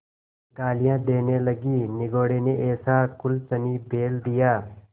गालियाँ देने लगीनिगोडे़ ने ऐसा कुलच्छनी बैल दिया